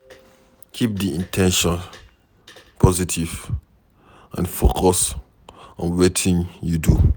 Keep di in ten tions positive and focus on wetin you do